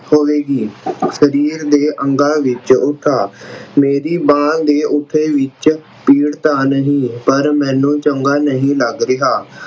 ਹੋਵੇਗੀ। ਸਰੀਰ ਦੇ ਅੰਗਾਂ ਵਿੱਚ ਉਠਾ ਮੇਰੀ ਮਾਂ ਦੇ ਉਠੇ ਵਿੱਚ ਪੀੜ ਤਾਂ ਨਹੀਂ ਪਰ ਮੈਨੂੰ ਚੰਗਾ ਨਹੀਂ ਲੱਗ ਰਿਹਾ।